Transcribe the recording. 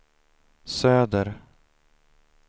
söder